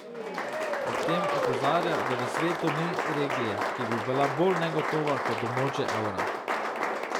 Ob tem opozarja, da v svetu ni regije, ki bi bila bolj negotova kot območje evra.